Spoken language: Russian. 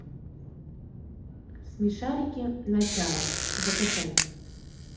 смешарики начало закачай